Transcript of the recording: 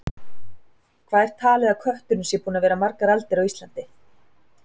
Hvað er talið að kötturinn sé búinn að vera margar aldir á Íslandi?